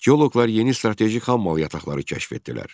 Geoloqlar yeni strateji xammal yataqları kəşf etdilər.